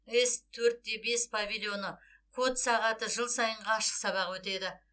с төрт те бес павильоны код сағаты жыл сайынғы ашық сабағы өтеді